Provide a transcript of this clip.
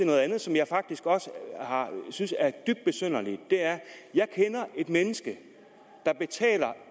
noget andet som jeg faktisk synes er dybt besynderligt jeg kender et menneske der betaler